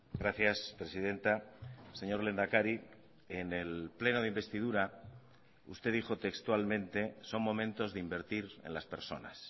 gracias presidenta señor lehendakari en el pleno de investidura usted dijo textualmente son momentos de invertir en las personas